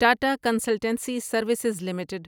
Tata consultancy services limited